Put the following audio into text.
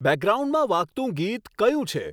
બેકગ્રાઉન્ડમાં વાગતું ગીત કયું છે